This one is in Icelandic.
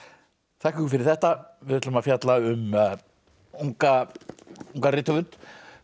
þakka ykkur fyrir þetta við ætlum að fjalla um ungan ungan rithöfund